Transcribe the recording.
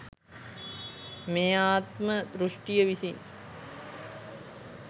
මේ ආත්ම දෘෂ්ටිය විසින්